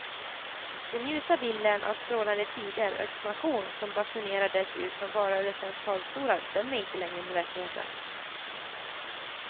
Den ljusa bilden av strålande tider och expansion som basunerades ut från valrörelsens talarstolar stämmer inte längre med verkligheten.